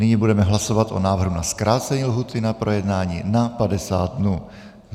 Nyní budeme hlasovat o návrhu na zkrácení lhůty na projednání na 50 dnů.